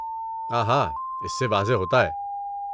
آہا، اس سے واضح ہوتا ہے۔